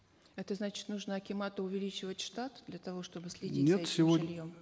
это значит нужно акимату увеличивать штат для того чтобы следить за этим жильем